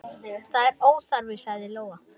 Það er óþarfi, sagði Lóa.